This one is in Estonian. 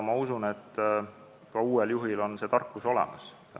Ma usun, et uuel juhil on see tarkus olemas.